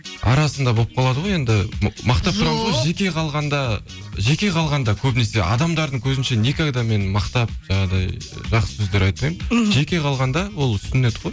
арасында болып қалады ғой енді мақтап тұрамыз ғой жеке қалғанда жеке қалғанда көбінесе адамдардың көзінше никогда мен мақтап жаңағыдай жақсы сөздер айтпаймын мхм жеке қалғанда ол сүннет қой